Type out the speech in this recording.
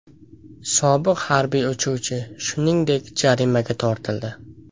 Sobiq harbiy uchuvchi, shuningdek, jarimaga tortildi.